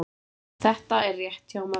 Þetta er rétt hjá mömmu.